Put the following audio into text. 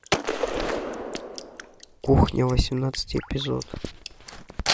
кухня восемнадцатый эпизод